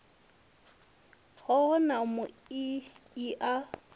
hoho ya mui i a